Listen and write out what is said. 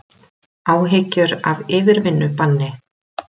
Áhyggjur af yfirvinnubanni